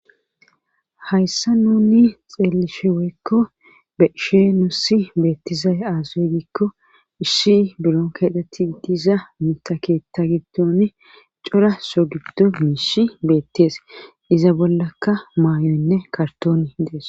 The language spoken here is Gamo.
Hayssa nuni xeelisheweekko beshee nossi beettizay aazawe giikko isshi bilon keetatti diza mitaketa gibdone cora so giddo miishi beettees iza bollaka maayoynne kartooni dees.